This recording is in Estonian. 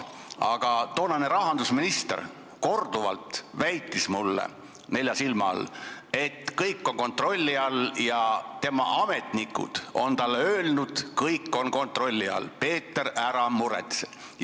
Aga toonane rahandusminister väitis mulle korduvalt nelja silma all, et kõik on kontrolli all, tema ametnikud on talle öelnud, et kõik on kontrolli all, nii et, Peeter, ära muretse.